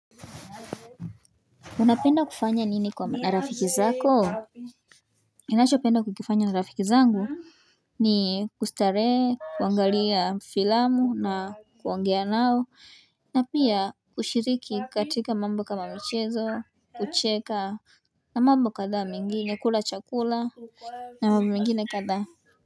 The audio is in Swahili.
Unapenda kufanya nini na rafiki zako? Ninachopenda kukifanya na rafiki zangu ni kustarehe, kuangalia filamu na kuongea nao, na pia kushiriki katika mambo kama michezo, kucheka, na mambo kadhaa mengine, kula chakula, na mambo mengine kadhaa.